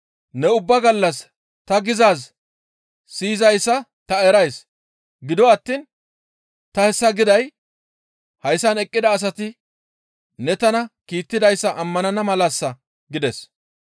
Ne ubba gallas ta gizaaz siyizayssa ta erays; gido attiin ta hessa giday hayssan eqqida asati ne tana kiittidayssa ammanana malassa» gides.